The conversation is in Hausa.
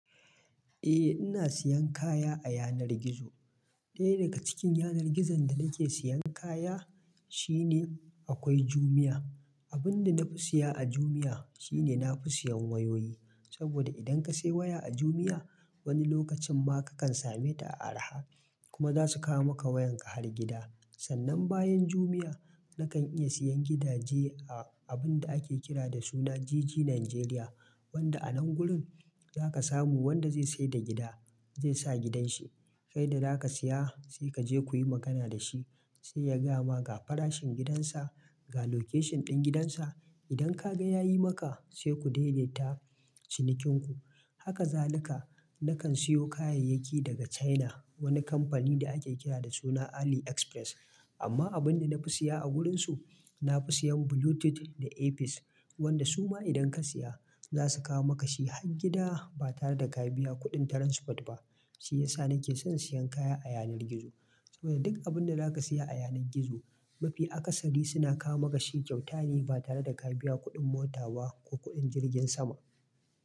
Eh ina siyan kaya a yanar gizo. Ɗaya daga cikin yanar gizon da nake siyan kaya shine akwai Jumia. Abun da na fi siya a Jumia shine na fi siyan wayoyi, saboda idan ka sai waya a Jumia wani lokacin ma kakan same ta a araha kuma zasu kawo maka wayan ka har gida. Sannan bayan Jumia na kan iya siyan gidaje a abun da ake kira da suna GG Nigeria, wanda a nan gurin zaka samu wanda zai saida da gida zai sa gidan shi, kai da zaka siya sai kaje kuyi magana dashi sai ya gayama ga farashin gidan sa, ga location ɗin gidan sa. Idan ka ga yayi maka sai ku daidaita cinikin ku. Haka zalika na kan siyo kayayyaki daga China wani kamfani da ake kira da suna AliExpress. Amma abun da na fi siya a wurin su, na fi siyan Bluetooth da earpiece, wanda su ma idan ka siya zasu kawo maka shi har gida ba tare da ka biya kuɗin transport ba. Shi yasa nake son siyan kaya a yanar gizo saboda duk abun da zaka siya a yanar gizo mafi akasari suna kawo maka shi kyautane ba tare da ka biya kuɗin mota ba ko kuɗin jirgin sama.